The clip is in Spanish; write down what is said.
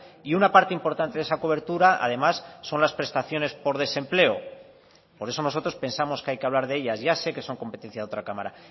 y una parte importante de esa cobertura además son las prestaciones por desempleo por eso nosotros pensamos que hay que hablar de ellas ya sé que son competencia de otra cámara